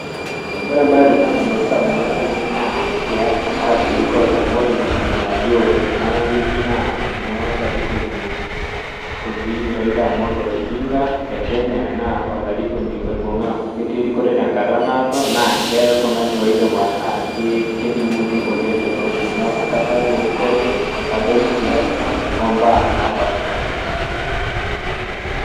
Wore embae edukuya nalotu indamunot aiinei naa siasa arashu erikore amu wore empisha nalio tena woji naa enoolarikoni oji Raila Amolo Odinga le Kenya, naa olarikoni oibunga aaku ketii erikore tenkata naado, naa keoltungani oidim ataa keninguni oleng' teleosho. Neeku kadoolta erikore, kadol siasa, ombaa napashpaasha.